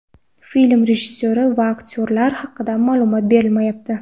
Film rejissyori va aktyorlar haqida ma’lumot berilmayapti.